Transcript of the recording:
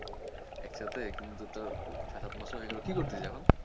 একসাথে কিন্তু তোর ছয় সাত মাস ও হয়ে গেলো কী করছিস এখন?